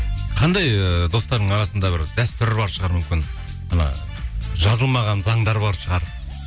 қандай ыыы достарыңның арасында бір дәстүр бар шығар мүмкін мына жазылмаған заңдар бар шығар